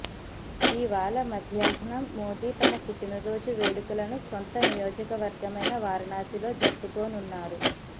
ఇవాళ మధ్యాహ్నం మోదీ తన పుట్టినరోజు వేడుకలను సొంత నియోజకవర్గమైన వారణాశిలో జరుపుకోనున్నారు